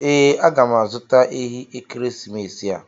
Ee, aga m azụta ehi n'ekeresimesi a.